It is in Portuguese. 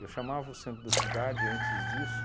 Eu chamava o centro da cidade antes disso